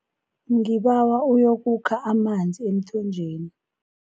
Ngibawa uyokukha amanzi emthonjeni.